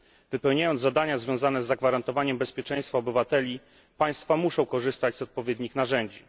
Wypełniając zadania związane z zagwarantowaniem bezpieczeństwa obywateli, państwa muszą korzystać z odpowiednich narzędzi.